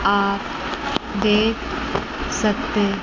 आप देख सकते--